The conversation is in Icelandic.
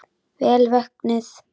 Vel vöknuð!